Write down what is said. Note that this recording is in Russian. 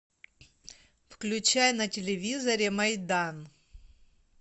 включай на телевизоре майдан